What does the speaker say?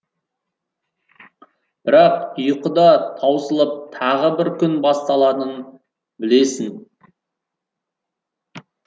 бірақ ұйқы да таусылып тағы бір күн басталатынын білесің